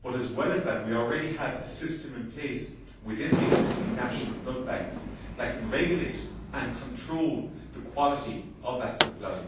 As well as that, we already have a system in place within the existing national blood banks that can regulate and control the quality of that supply.